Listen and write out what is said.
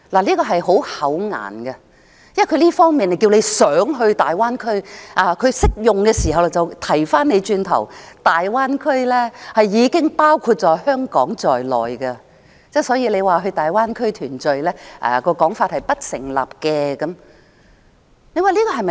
政府一方面提倡港人到大灣區，但在另一場合，卻說大灣區已經包括香港在內，所以到大灣區團聚的說法是不成立的。